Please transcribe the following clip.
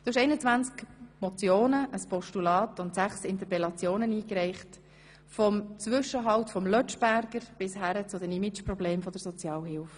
Du hast 21 Motionen, ein Postulat und sechs Interpellationen eingereicht, vom Zwischenhalt vom Lötschberger bis hin zu den Image-Problemen der Sozialhilfe.